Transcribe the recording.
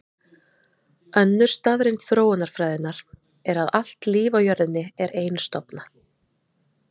Önnur staðreynd þróunarfræðinnar er að allt líf á jörðinni er einstofna.